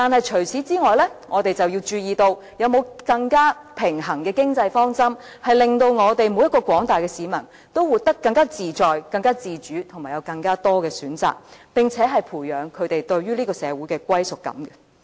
除此之外，我們還要注意，是否有更平衡的經濟方針，令廣大市民人人都活得更自在、自主及享有更多選擇，並且培養他們對於這個社會的歸屬感？